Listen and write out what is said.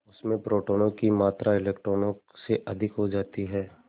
उसमें प्रोटोनों की मात्रा इलेक्ट्रॉनों से अधिक हो जाती है